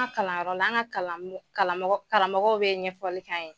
An kalanyɔrɔ la an ŋa kalan ŋo kalamɔgɔ karamɔgɔw be ɲɛfɔli k'an ye.